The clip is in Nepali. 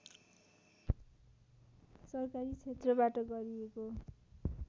सरकारी क्षेत्रबाट गरिएको